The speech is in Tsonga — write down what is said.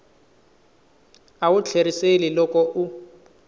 a wu tlheriseli loko u